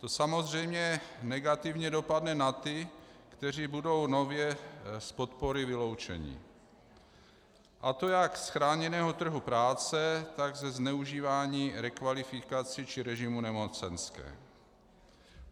To samozřejmě negativně dopadne na ty, kteří budou nově z podpory vyloučeni, a to jak z chráněného trhu práce, tak ze zneužívání rekvalifikací či režimu nemocenské.